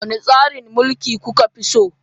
Wane tsarin mulki kuka fi so?